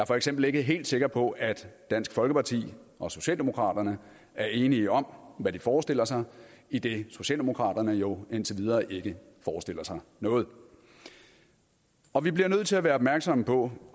for eksempel ikke helt sikker på at dansk folkeparti og socialdemokraterne er enige om hvad de forestiller sig idet socialdemokraterne jo indtil videre ikke forestiller sig noget og vi bliver nødt til at være opmærksomme på